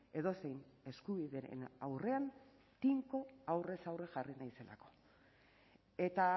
edozein eskubideren aurrean tinko aurrez aurre jarri naizelako eta